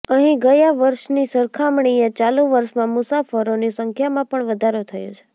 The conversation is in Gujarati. અહીં ગયા વર્ષની સરખામણીએ ચાલુ વર્ષમાં મુસાફરોની સંખ્યામાં પણ વધારો થયો છે